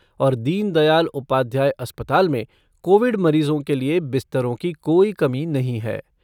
और दीनदयाल उपाध्याय अस्पताल में कोविड मरीजों के लिए बिस्तरों की कोई कमी नहीं है।